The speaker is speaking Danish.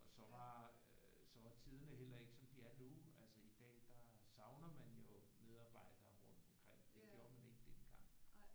Og så var øh så var tiderne heller ikke som de er nu altså i dag der savner man jo medarbejdere rundt omkring det gjorde man ikke dengang